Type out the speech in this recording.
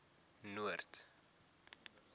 noord